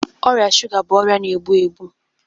Ọrịa shuga bụ ọrịa na-egbu egbu